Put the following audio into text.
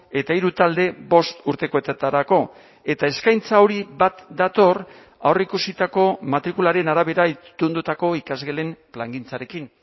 eta hiru talde bost urtekoetarako eta eskaintza hori bat dator aurreikusitako matrikularen arabera itundutako ikasgelen plangintzarekin